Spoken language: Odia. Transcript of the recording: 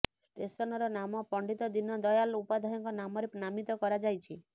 ଷ୍ଟେସନର ନାମ ପଣ୍ଡିତ ଦିନ ଦୟାଲ ଉପାଧ୍ୟାୟଙ୍କ ନାମରେ ନାମିତ କରାଯାଇଛି